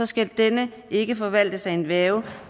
skal denne ikke forvaltes af en værge